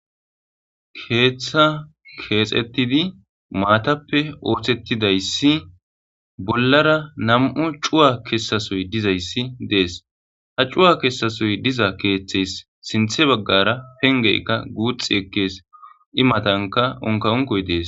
Keeththa keexettidi maatappe orsettidayssi bollara nam7u cuwa kessasoy dizayssi dees ha cuwa kessasoy diza keeththeys sinthe baggara pengeykka guuxi ekkees imatanka onka onkoy dees.